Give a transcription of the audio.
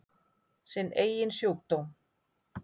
Sinn eigin sjúkdóm.